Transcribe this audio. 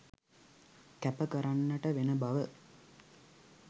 කැප කරන්නට වෙන බව